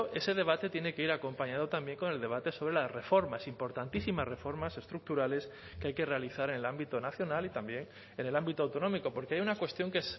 ese debate tiene que ir acompañado también con el debate sobre las reformas importantísimas reformas estructurales que hay que realizar en el ámbito nacional y también en el ámbito autonómico porque hay una cuestión que